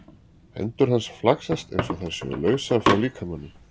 Hendur hans flaksast einsog þær séu lausar frá líkamanum.